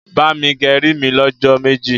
bá mí gé rí mí ló jó méjì.